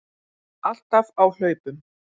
Alltaf á hlaupum.